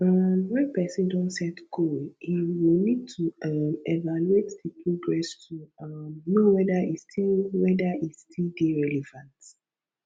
um when person don set goal im go need to um evaluate di progress to um know whether e still whether e still dey relevant